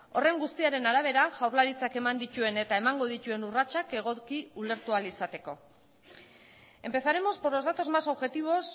horren guztiaren arabera jaurlaritzak eman dituen eta emango dituen urratsak egoki ulertu ahal izateko empezaremos por los datos más objetivos